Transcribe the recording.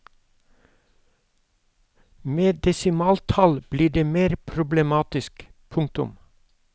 Med desimaltall blir det mer problematisk. punktum